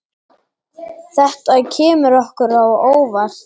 Þetta kemur okkur á óvart.